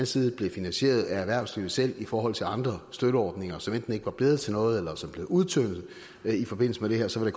side blev finansieret af erhvervslivet selv i forhold til andre støtteordninger som enten ikke var blevet til noget eller som blev udtyndet i forbindelse med det her så